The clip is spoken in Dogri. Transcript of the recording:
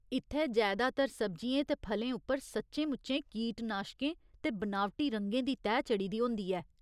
इत्थै जैदातर सब्जियें ते फलें उप्पर सच्चें मुच्चें कीटनाशकें ते बनावटी रंगें दी तैह् चढ़ी दी होंदी ऐ।